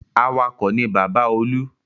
Awakọ̀ ni bàbá Olú.